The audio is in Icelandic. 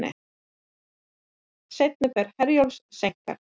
Seinni ferð Herjólfs seinkar